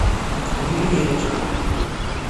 ювелирочка